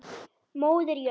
Móðir jörð.